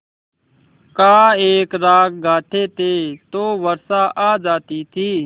का एक राग गाते थे तो वर्षा आ जाती थी